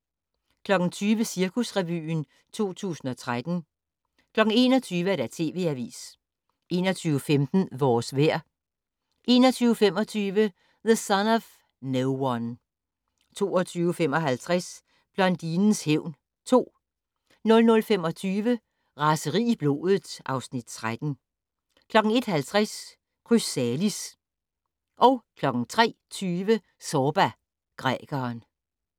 20:00: Cirkusrevyen 2013 21:00: TV Avisen 21:15: Vores vejr 21:25: The Son of No One 22:55: Blondinens hævn 2 00:25: Raseri i blodet (Afs. 13) 01:50: Chrysalis 03:20: Zorba, grækeren